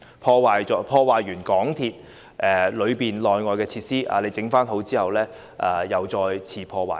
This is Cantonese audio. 當有人破壞港鐵車站內外的設施後，待維修完畢，他們便會再次破壞。